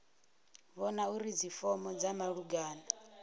vhona uri dzifomo dza malugana